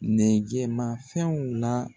Nɛgɛmafɛnw la